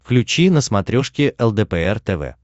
включи на смотрешке лдпр тв